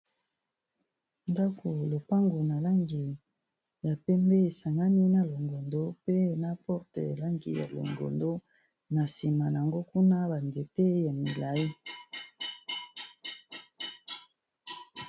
ndako lopangu na langi ya pembe esangani na longondo pe na porte elangi ya longondo na nsima yango kuna banzete ya milai